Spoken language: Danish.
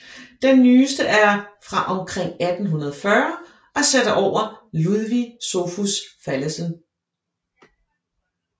Den nyeste er fra omkring 1840 og sat over Ludvig Sophus Fallesen